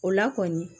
O la kɔni